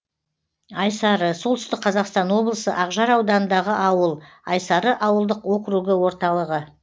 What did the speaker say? айсары солтүстік қазақстан облысы ақжар ауданындағы ауыл айсары ауылдық округі орталығы